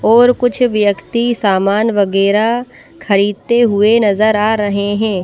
और कुछ व्यक्ति सामान वगैरह खरीदते हुए नजर आ रहे हैं।